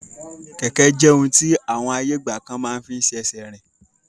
Kẹ̀kẹ́ jẹ ohun ti àwọn ayé ìgbàkan máa fín ṣe ẹsẹ rìn.